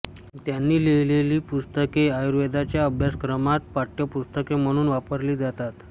त्यांनी लिहिलेली पुस्तके आयुर्वेदाच्या अभ्यासक्रमात पाठ्यपुस्तके म्हणून वापरली जातात